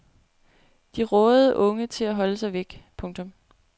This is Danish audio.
De rådede unge til at holde sig væk. punktum